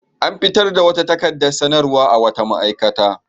An fitar da wata takaradar sanarwa a wata ma'aikata.